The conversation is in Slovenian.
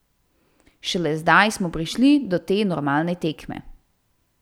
Šele zdaj smo prišli do te normalne tekme.